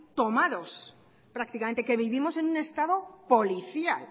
tomados prácticamente que vivimos en un estado policial